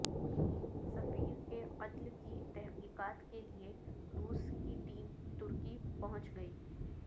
سفیر کے قتل کی تحقیقات کے لئے روس کی ٹیم ترکی پہنچ گئی